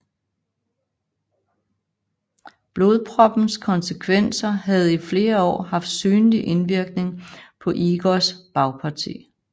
Blodproppens konsekvenser havde i flere år haft synlig indvirkning på Igors bagparti